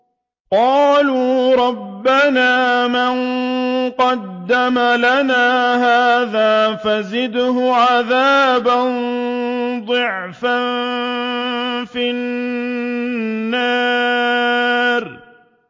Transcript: قَالُوا رَبَّنَا مَن قَدَّمَ لَنَا هَٰذَا فَزِدْهُ عَذَابًا ضِعْفًا فِي النَّارِ